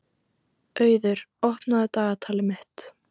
Auður, opnaðu dagatalið mitt.